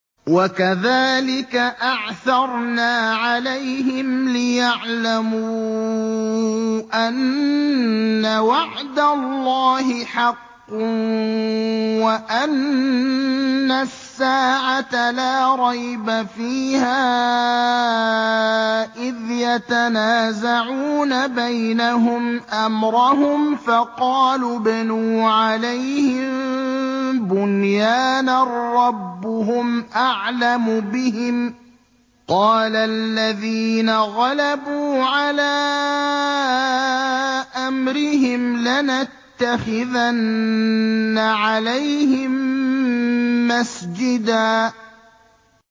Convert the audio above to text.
وَكَذَٰلِكَ أَعْثَرْنَا عَلَيْهِمْ لِيَعْلَمُوا أَنَّ وَعْدَ اللَّهِ حَقٌّ وَأَنَّ السَّاعَةَ لَا رَيْبَ فِيهَا إِذْ يَتَنَازَعُونَ بَيْنَهُمْ أَمْرَهُمْ ۖ فَقَالُوا ابْنُوا عَلَيْهِم بُنْيَانًا ۖ رَّبُّهُمْ أَعْلَمُ بِهِمْ ۚ قَالَ الَّذِينَ غَلَبُوا عَلَىٰ أَمْرِهِمْ لَنَتَّخِذَنَّ عَلَيْهِم مَّسْجِدًا